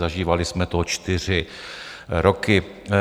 Zažívali jsme to čtyři roky.